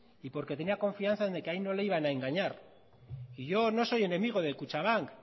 y porque tenía confianza de que ahí no le iban a engañar y yo no soy enemigo de kutxabank